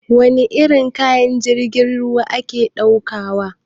Wani irin kaya jirgin ruwa ke ɗaukawa?